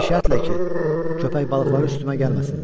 Bir şərtlə ki, köpək balıqları üstümə gəlməsinlər.